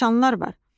Nişanlar var.